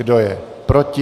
Kdo je proti?